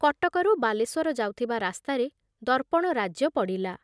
କଟକରୁ ବାଲେଶ୍ବର ଯାଉଥିବା ରାସ୍ତାରେ ଦର୍ପଣ ରାଜ୍ୟ ପଡ଼ିଲା ।